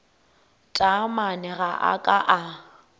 taamane ga a ka a